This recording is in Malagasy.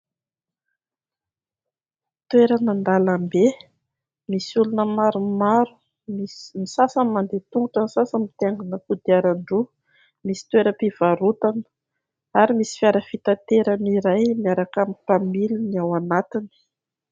Toerana an-dalambe misy olona maromaro. Ny sasany mandeha tongotra, ny sasany mitaingina kodiaran-droa, misy toeram-pivarotana ary misy fiara fitaterana iray miaraka amin'ny mpamiliny ao anatiny.